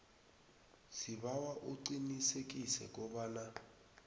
sibawa uqinisekise kobana